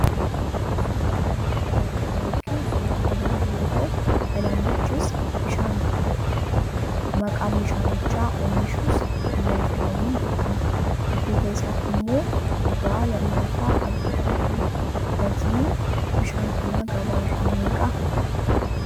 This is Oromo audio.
Suuraa kana irratti kan arginu suuraa haayilaandii yoo ta'u, haayilaandichis bishaan bitteedha. Maqaan bishaanicha oomishus 'Kiya' jedhamuun beekama. Dudduuba isaatti immoo dhugaa lallaafaa arguu dandeenya. Gatiin bishaan kanaa gabaa irraa meeqa?